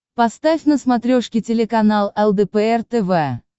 поставь на смотрешке телеканал лдпр тв